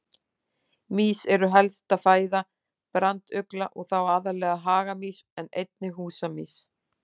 Mýs eru helsta fæða brandugla og þá aðallega hagamýs en einnig húsamýs.